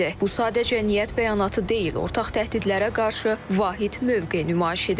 Bu sadəcə niyyət bəyanatı deyil, ortaq təhdidlərə qarşı vahid mövqe nümayişidir.